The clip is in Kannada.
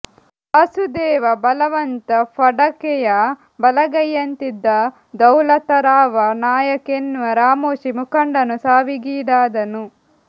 ವಾಸುದೇವ ಬಲವಂತ ಫಡಕೆಯ ಬಲಗೈಯುಂತಿದ್ದ ದೌಲತರಾವ ನಾಯಕ್ ಎನ್ನುವ ರಾಮೋಶಿ ಮುಖಂಡನು ಸಾವಿಗೀಡಾದನು